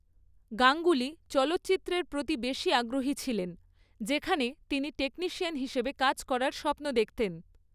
গাঙ্গুলি, চলচ্চিত্রের প্রতি বেশি আগ্রহী ছিলেন, যেখানে তিনি টেকনিশিয়ান হিসাবে কাজ করার স্বপ্ন দেখতেন।